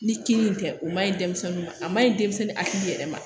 Ni kini tɛ o ma ɲi denmisɛn ma a ma ɲi denmisɛnnin hakili yɛrɛ ma